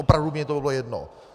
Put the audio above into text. Opravdu mně to bylo jedno.